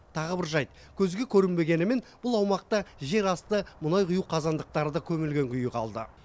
тағы бір жайт көзге көрінбегенімен бұл аумақта жерасты мұнай құю қазандықтары да көмілген күйі қалды